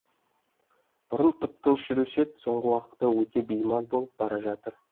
бұрын тып тыныш жүруші еді соңғы уақытта өте беймаз болып бара жатыр